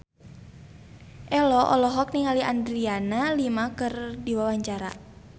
Ello olohok ningali Adriana Lima keur diwawancara